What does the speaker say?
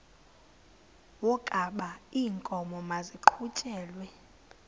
wokaba iinkomo maziqhutyelwe